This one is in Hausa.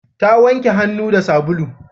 Ta wanke hannu da sabulu